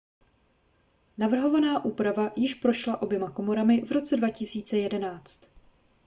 navrhovaná úprava již prošla oběma komorami v roce 2011